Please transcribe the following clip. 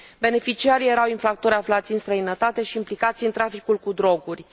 Beneficiarii erau infractori aflați în străinătate și implicați în traficul cu droguri.